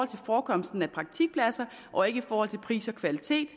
til forekomsten af praktikpladser og ikke i forhold til pris og kvalitet